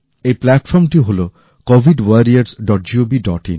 এই প্লাটফর্ম টি হল covidwarriorsgovin